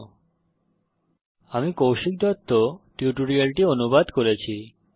http spoken tutorialorgnmeict intro আমি কৌশিক দত্ত এই টিউটোরিয়ালটি অনুবাদ করেছি